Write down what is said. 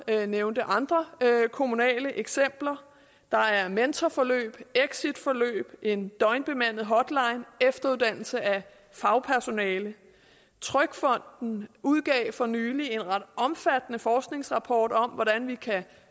nævnte også andre kommunale eksempler der er mentorforløb exitforløb en døgnbemandet hotline og efteruddannelse af fagpersonale trygfonden udgav for nylig en ret omfattende forskningsrapport om hvordan man kan